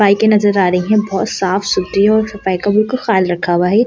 बाइकै नज़र आ रही हैं बहुत साफ-सुधरी और सफाई का बिल्कुल खाल रखा हुआ है।